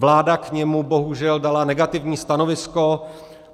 Vláda k němu bohužel dala negativní stanovisko.